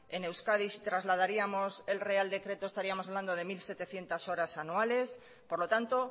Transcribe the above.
en euskadi si trasladaríamos el real decreto estaríamos hablando de mil setecientos horas anuales por lo tanto